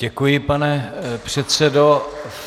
Děkuji, pane předsedo.